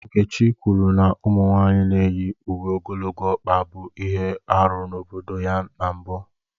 Nkechi kwuru na ụmụ nwanyị na-eyi uwe ogologo ọkpa bụ ihe arụ n'obodo ya na mbụ